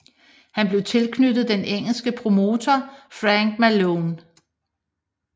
Han blev tilknyttet den engelske promotor Fank Maloney